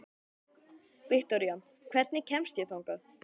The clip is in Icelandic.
Viktoría, hvernig kemst ég þangað?